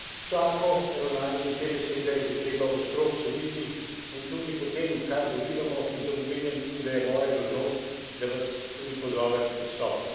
Tako ravnanje in te besede je treba ostro obsoditi in tudi po tem, kar dobivamo iz domovine, mislim, da je moja dolžnost, da vas tudi pozovem k odstopu.